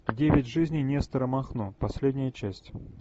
девять жизней нестора махно последняя часть